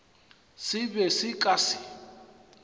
se be se ka se